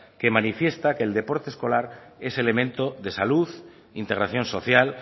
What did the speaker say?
que manifiesta que el deporte escolar es elemento de salud integración social